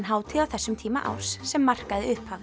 hátíð á þessum tíma árs sem markaði